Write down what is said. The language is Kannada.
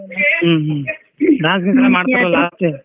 ಹ್ಮ್‌ ಹ್ಮ್‌ dance ಗೀನ್ಸ್ ಎಲ್ಲ ಮಾಡ್ತಾರಲ್ಲ last .